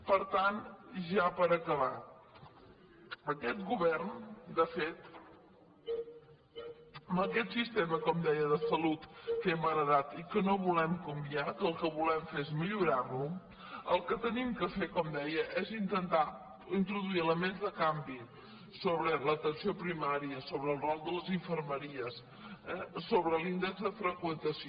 per tant i ja per acabar aquest govern de fet amb aquest sistema com deia de salut que hem heretat i que no volem canviar que el que volem fer és millorar·lo el que hem de fer com deia és intentar introduir elements de canvi sobre l’atenció primària sobre el rol de les in·fermeries sobre l’índex de freqüentació